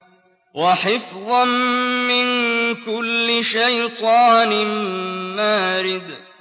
وَحِفْظًا مِّن كُلِّ شَيْطَانٍ مَّارِدٍ